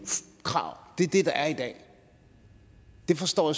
krav det er det der er i dag det forstår